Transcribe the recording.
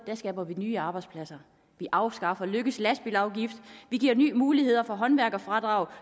skaber nye arbejdspladser vi afskaffer løkkes lastbilafgift vi giver nye muligheder for håndværkerfradrag